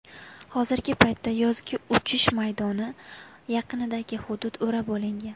Hozirgi paytda yozgi uchish maydoni yaqinidagi hudud o‘rab olingan.